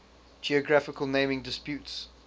geographical naming disputes